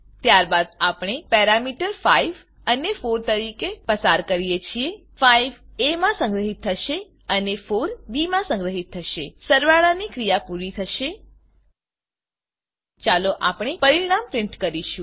ત્યારબાદ આપણે પેરામીટર 5 અને 4 તરીકે પસાર કરીએ છીએ 5 એ માં સંગ્રહીત થશે અને 4 બી માં સંગ્રહીત થશે સરવાળાની ક્રીયા પૂરી થશે ચાલો આપણે પરીણામ પ્રીંટ કરીશું